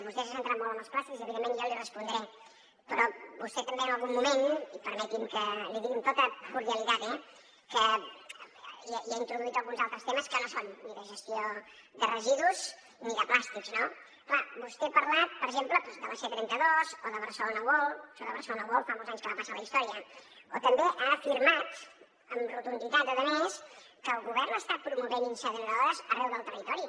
vostè s’ha centrat molt en els plàstics i evidentment jo li respondré però vostè també en algun moment i permeti’m que li digui amb tota cordialitat eh hi ha introduït alguns altres temes que no són ni de gestió de residus ni de plàstics no clar vostè ha parlat per exemple de la c trenta dos o de barcelona world i això de barcelona world fa molts anys que va passar a la història o també ha afirmat amb rotunditat a més que el govern està promovent incineradores arreu del territori